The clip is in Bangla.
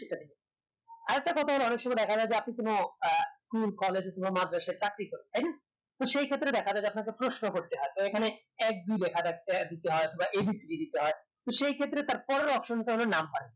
অৰরেকটা কথা হলো অনেকসময় দেখা যাই যে আপনি কোনো আহ কোনো college অথবা মাদ্রাসে চাকরি করেন তাই না তো সেইক্ষেত্রে দেখা যাই যে আপনাকে প্রশ্ন করতে হয় তো এখানে এক দুই এক দুই লেখা থাকতে অথবা abcd দিতে হয় তো সেইক্ষেত্রে তার পরের option টা হলো number